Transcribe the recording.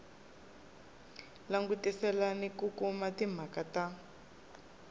langutisela ku kuma timhaka na